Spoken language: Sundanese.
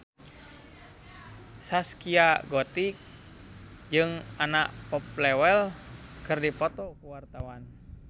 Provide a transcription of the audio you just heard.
Zaskia Gotik jeung Anna Popplewell keur dipoto ku wartawan